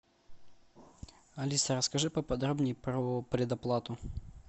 алиса расскажи поподробнее про предоплату